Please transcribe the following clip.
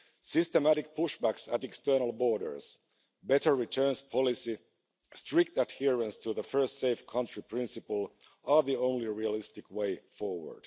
Systematic pushbacks at external borders, better returns policy and strict adherence to the first safe country principle are the only realistic way forward.